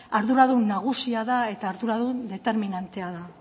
arduradun nagusia eta arduradun determinantea da